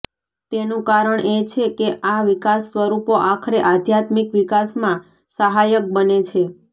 તેનું કારણ એ છે કે આ વિકાસસ્વરૂપો આખરે આધ્યામિક વિકાસમાં સહાયક બને છે